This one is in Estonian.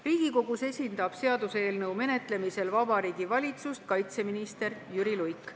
Riigikogus esindab seaduseelnõu menetlemisel Vabariigi Valitsust kaitseminister Jüri Luik.